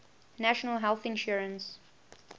national health insurance